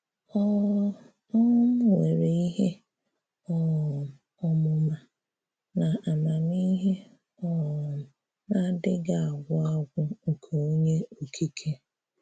Ọ̀ um nwerè ihè um ọmụmà na àmàmihè um na-adịghị̀ agwụ agwụ nke Onyé Okike.